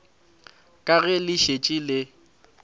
ka ge le šetše le